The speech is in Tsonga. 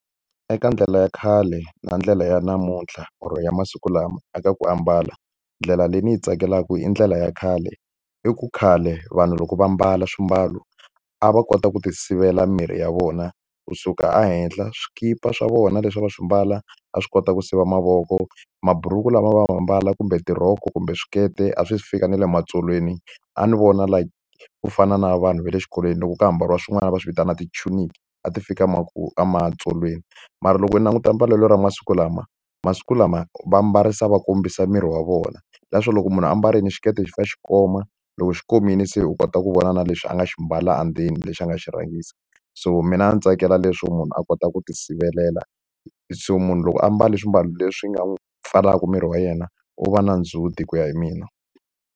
Eka ndlela ya khale na ndlela ya namuntlha or ya masiku lama eka ku ambala, ndlela leyi ni yi tsakelaka i ndlela ya khale. Hi ku khale vanhu loko va mbala swimbalo a va kota ku ti sivela mimirhi ya vona kusuka ehenhla. Swikipa swa vona leswi va swi mbala a swi kota ku siva mavoko, mabhuruku lama a va ma mbala kumbe tirhoko kumbe swikete a swi fika na le matsolweni. A ni vona like ku fana na vanhu ve le xikolweni loko ka ha ambariwa swin'wana va swi vitanaka ti chuniki a ti fika ematsolweni. Mara loko u languta mbalelo ra masiku lama masiku lama va mbarisa va kombisa miri wa vona. Leswo loko munhu a mbarile xiketi xi fanele xi va xi koma, loko xi komile se u kota ku vona na leswi a nga xi mbala andzeni, lexi a nga xi rhangisa. So mina ndzi tsakela leswo munhu a kota ku ti sivelela So munhu loko a mbale swimbalo leswi ni nga n'wi pfalaka miri wa yena, u va na ndzhuti ku ya hi mina.